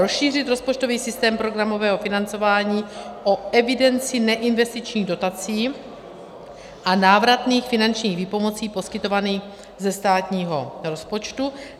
Rozšířit rozpočtový systém programového financování o evidenci neinvestičních dotací a návratných finančních výpomocí poskytovaných ze státního rozpočtu.